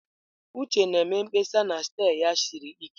Uche na-eme mkpesa na steer ya siri ike.